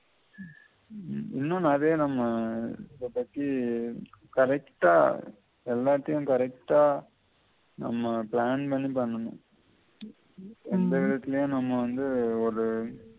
உம் இன்னும் நெறைய நம்ம இத பத்தி correct ஆ எல்லாத்தையும் correct ஆ நம்ம plan பண்ணி பண்ணனும் எந்த விதத்திலயும் நம்ம வந்து ஒரு